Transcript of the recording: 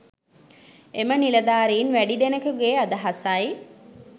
එම නිලධාරින් වැඩි දෙනෙකුගේ අදහසයි.